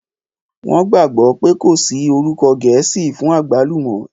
Wọ́n gbàgbọ́ pé kò sí orúkọ gẹ̀ẹ́sì fún àgbálùmọ́